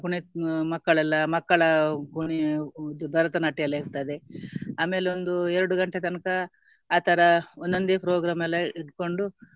ಕುನಿ~ ಮಕ್ಕಳೆಲ್ಲ ಮಕ್ಕಳ ಕುನಿಯ~ ಇದು ಭರತನಾಟ್ಯ ಎಲ್ಲ ಇರ್ತದೆ ಆಮೇಲೆ ಒಂದು ಎರಡು ಗಂಟೆ ತನಕ ಆತರ ಒಂದೊಂದೇ program ಎಲ್ಲ ಇಟ್ಕೊಂಡು